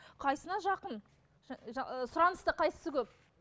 қайсысына жақын ы сұраныста қайсысы көп